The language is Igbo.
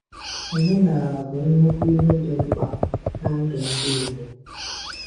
Omenala bụ Nnukwu ihe dị mkpa na ndụ ndi Igbo.